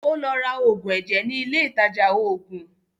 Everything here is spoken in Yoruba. Ó lọ ra òògùn ẹ̀jẹ̀ ní ilé ìtajà òògùn.